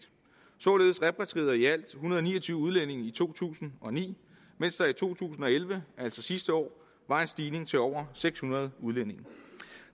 således repatrierede i alt en hundrede og ni og tyve udlændinge i to tusind og ni mens der i to tusind og elleve altså sidste år var en stigning til over seks hundrede udlændinge